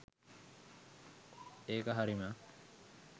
ඒක හරිම